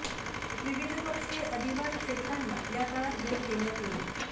विविध पक्षी अधिवास क्षेत्रांना या काळात भेट देण्यात येईल